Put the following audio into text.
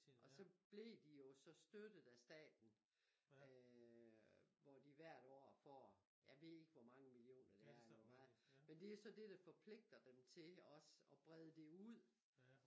Og så blev de jo så støttet af staten øh hvor de hvert år får jeg ved ikke hvor mange millioner det er eller hvor meget men det er så det der forpligter dem til også og brede det ud